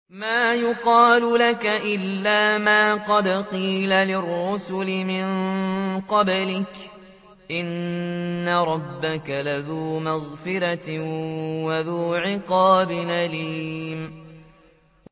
مَّا يُقَالُ لَكَ إِلَّا مَا قَدْ قِيلَ لِلرُّسُلِ مِن قَبْلِكَ ۚ إِنَّ رَبَّكَ لَذُو مَغْفِرَةٍ وَذُو عِقَابٍ أَلِيمٍ